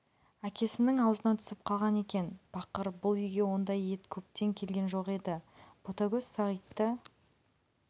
әкесінің аузынан түсіп қалған екен бақыр бұл үйге ондай ет көптен келген жоқ еді ботагөз сағитты